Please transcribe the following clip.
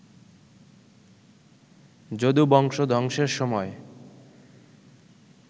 যদুবংশ ধ্বংসের সময়